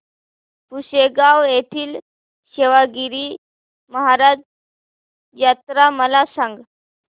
पुसेगांव येथील सेवागीरी महाराज यात्रा मला सांग